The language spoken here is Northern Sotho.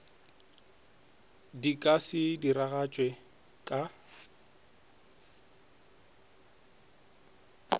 di ka se diragatšwe ka